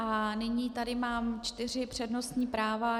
A nyní tady mám čtyři přednostní práva.